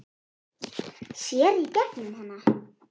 Sér í gegnum hana.